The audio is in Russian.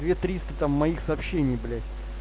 две триста там моих сообщений блядь